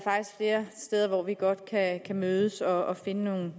flere steder hvor vi godt kan mødes og finde nogle